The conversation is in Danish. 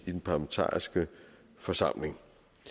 i den parlamentariske forsamling